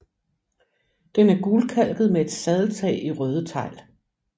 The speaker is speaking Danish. Den er gulkalket med et sadeltag i røde tegl